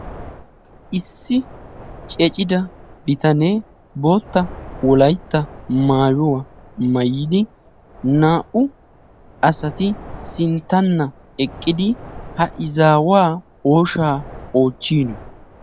Issi cimida bitanee bootta wolaytta maayuwaa mayidi naa"u asati sinttanna eqqidi ha izaawaa ooshaa oochchiino